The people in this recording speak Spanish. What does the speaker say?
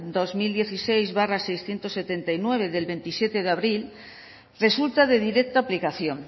dos mil dieciséis barra seiscientos setenta y nueve del veintisiete de abril resulta de directa aplicación